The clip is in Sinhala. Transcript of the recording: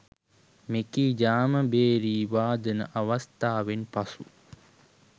මෙකී ඡාම භේරි වාදන අවස්ථාවෙන් පසු